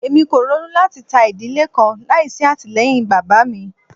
Emi ko ronu lati ta idile kan laisi atilẹyin baba mi